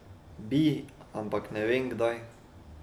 Bi, ampak ne vem, kdaj.